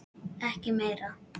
Ekki meira.